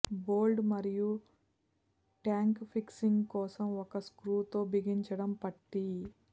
bolt మరియు tank fixing కోసం ఒక స్క్రూ తో బిగించటం పట్టీ